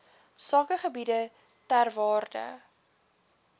sakegebiede ter waarde